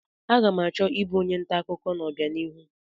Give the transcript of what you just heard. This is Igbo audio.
Aga m achọ ịbụ onye nta akụkọ n'ọbianihu.